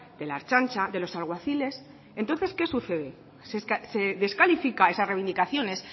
de la ertzaintza de los alguaciles entonces qué sucede se descalifican esas reivindicaciones